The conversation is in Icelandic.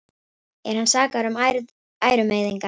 Er hann sakaður um ærumeiðingar